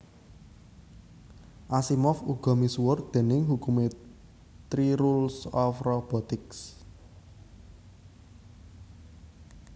Asimov uga misuwur déning hukumé Three Rules of Robotics